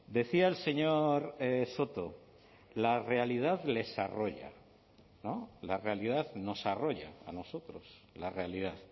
decía el señor soto la realidad les arrolla no la realidad nos arrolla a nosotros la realidad